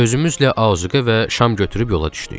Özümüzlə ağızqə və şam götürüb yola düşdük.